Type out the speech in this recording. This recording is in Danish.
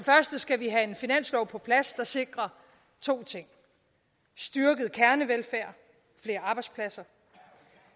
første skal vi have en finanslov på plads der sikrer to ting styrket kernevelfærd flere arbejdspladser